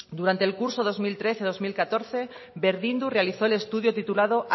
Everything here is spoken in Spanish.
durante el curso dos mil trece dos mil catorce berdindu realizó el estudio titulado